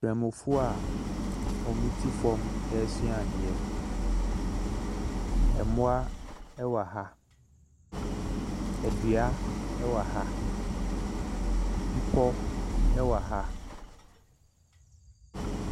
Banmufo a wɔte fam ɛresua adeɛ, mmoa wɔ ha, dua wɔ ha, bepɔ wɔ ha.